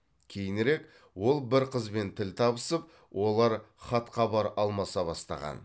кейінірек ол бір қызбен тіл табысып олар хат хабар алмаса бастаған